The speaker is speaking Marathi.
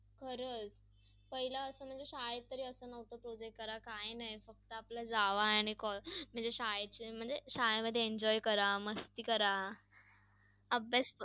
आणि महाराष्ट्रात महाराष्ट्र आज फळाफुलांनी खूप समृद्ध समृद्ध आहे. महाराष्ट्रातील खूप अन्नपदार्थ हे बाहेर बाहेर सुद्धा जातात आणि सर्वांना पुरवठा होतो .